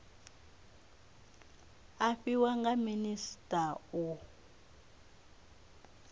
a fhiwa nga minisita u